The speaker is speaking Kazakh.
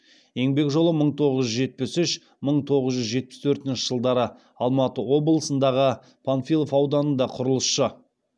еңбек жолы мың тоғыз жүз жетпіс үш мың тоғыз жүз жетпіс төртінші жылдары алматы облысындағы панфилов ауданында құрылысшы